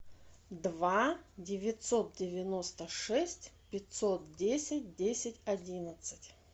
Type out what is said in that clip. два девятьсот девяносто шесть пятьсот десять десять одиннадцать